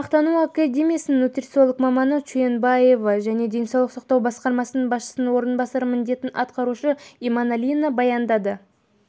тағамтану академиясының нутрициолог маманы чуенбекова мен денсаулық сақтау басқармасы басшысының орынбасары міндетін атқарушы иманалина баяндады